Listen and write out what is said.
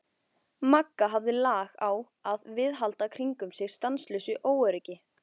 Magga hafði lag á að viðhalda kringum sig stanslausu óöryggi.